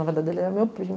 Na verdade, ele é meu primo.